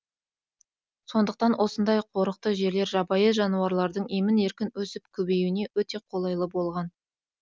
сондықтан осындай қорықты жерлер жабайы жануарлардың емін еркін өсіп көбеюіне өте қолайлы болған